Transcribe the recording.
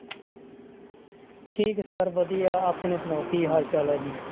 ਠੀਕ ਹੈ sir ਵਧੀਆ, ਆਪਣੀ ਸੁਣਾਓ ਕੀ ਹਾਲ ਚਾਲ ਹੈ ਜੀ।